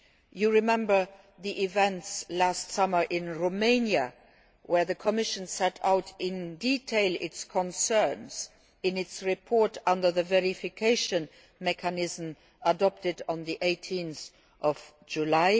law. You will recall the events last summer in Romania, where the Commission set out in detail its concerns in its report under the Verification Mechanism adopted on 18 July